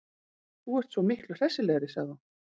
Þú ert svo miklu hressilegri, sagði hún.